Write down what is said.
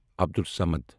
Abdul Samad